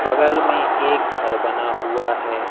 बगल में एक घर बना हुआ है।